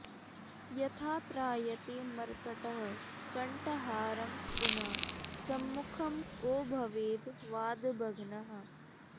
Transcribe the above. यथा त्रायते मर्कटः कंठहारं पुनः सम्भुखं को भवेद् वादभग्नः